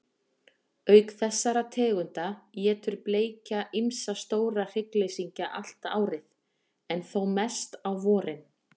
Auk þessara tegunda étur bleikja ýmsa stóra hryggleysingja allt árið, en þó mest á vorin.